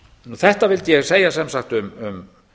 þetta vildi ég sem sagt segja um